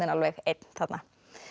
alveg einn þarna